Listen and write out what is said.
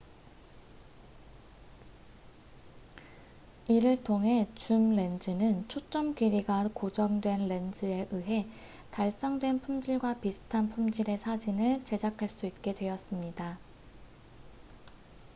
이를 통해 줌 렌즈는 초점 길이가 고정된 렌즈에 의해 달성된 품질과 비슷한 품질의 사진을 제작할 수 있게 되었습니다